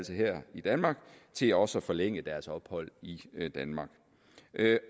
her i danmark til også at forlænge deres ophold i danmark